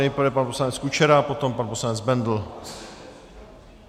Nejdřív pan poslanec Kučera, potom pan poslanec Bendl.